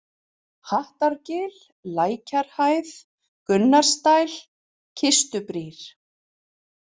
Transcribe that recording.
Hattargil, Lækjarhæð, Gunnarsdæl, Kistubrýr